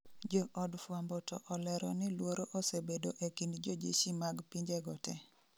Jo od fwambo to olero ni luoro osebedo e kind jojeshi mag pinje go te